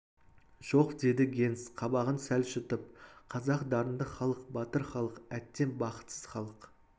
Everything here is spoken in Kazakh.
жоқ деді генс қабағын сәл шытып қазақ дарынды халық батыр халық әттең бақытсыз халық